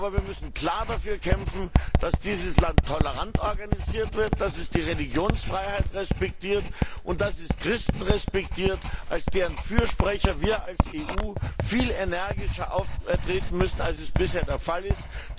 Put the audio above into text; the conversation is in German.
Aber wir müssen klar dafür kämpfen, dass dieses Land tolerant organisiert wird, dass es die Religionsfreiheit und die Christen respektiert, als deren Fürsprecher wir als EU viel energischer auftreten müssen, als es bisher der Fall ist.